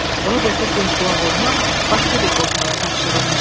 Roberta göz qulaq olmaq başqa bir Bosmana tapşırılmışdı.